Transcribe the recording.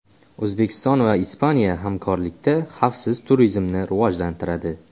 O‘zbekiston va Ispaniya hamkorlikda xavfsiz turizmni rivojlantiradi.